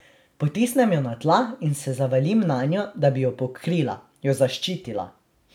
Potisnem jo na tla in se zavalim nanjo, da bi jo pokrila, jo zaščitila.